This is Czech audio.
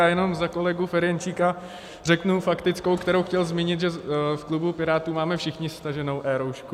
Já jenom za kolegu Ferjenčíka řeknu faktickou, kterou chtěl zmínit, že v klubu Pirátů máme všichni staženou eRoušku.